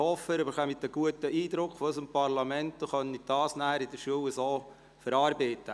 Ich hoffe, Sie bekommen einen guten Eindruck von unserem Parlament und können diesen dann in der Schule verarbeiten.